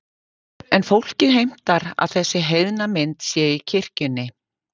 En fólkið heimtar að þessi heiðna mynd sé í kirkjunni.